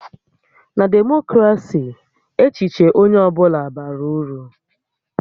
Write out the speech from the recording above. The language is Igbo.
Na Demokrasi, echiche onye ọ bụla bara uru